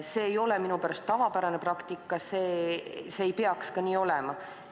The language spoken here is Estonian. See ei ole minu arvates tavapärane praktika, see ei peaks nii olema.